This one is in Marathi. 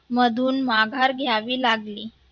मधून माघार घ्यावी लागली.